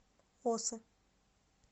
осы